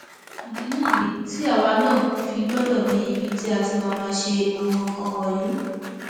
ìdí nìyí tí àwa náà fi gbọdọ ní ibi tí a ti máa máa ṣe àwọn nǹkan wọnyí